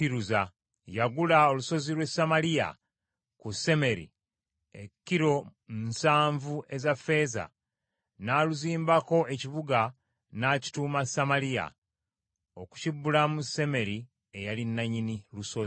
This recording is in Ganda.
Yagula olusozi lw’e Samaliya ku Semeri, ekilo nsanvu eza ffeeza, n’aluzimbako ekibuga, n’akituuma Samaliya, okukibbulamu Semeri eyali nannyini lusozi.